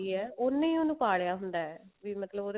ਹੈ ਉਹਨੇ ਹੀ ਉਹਨੂੰ ਪਾਲਿਆ ਹੁੰਦਾ ਵੀ ਮਤਲਬ